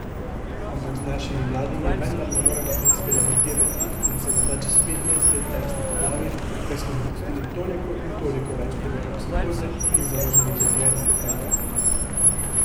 Ampak z našimi mladimi vendar ne moremo eksperimentirati in se morda čez petnajst let tepsti po glavi, ker smo dopustili toliko in toliko več primerov psihoze in zavoženih življenj, kajne?